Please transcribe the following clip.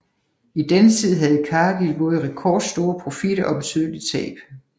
I denne tid havde Cargill både rekordstore profitter og betydelige tab